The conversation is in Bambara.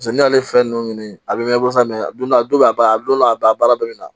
n'i y'ale fɛn ninnu ɲini a bɛ mɛn kosɛbɛ mɛ a donna a don a ba don a ba baara dɔ bɛ na